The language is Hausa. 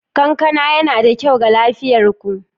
Kankana yana da kyau ga lafiyar ku